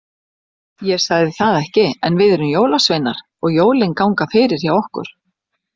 Ég sagði það ekki, en við erum jólasveinar og jólin ganga fyrir hjá okkur.